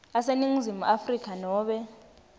aseningizimu afrika nobe